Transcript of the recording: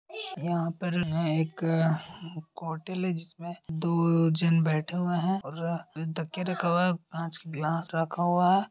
यहा पर एक होटल है जिसमे दो जन बैठे हुए है और तकिये रखे हुए है कांच का ग्लास रखा हुआ है।